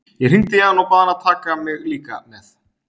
Ég hringdi í hann og bað hann að taka mig líka með.